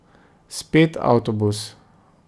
Spet avtobus.